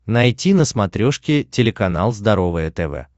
найти на смотрешке телеканал здоровое тв